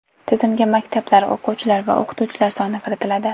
Tizimga maktablar, o‘quvchilar va o‘qituvchilar soni kiritiladi.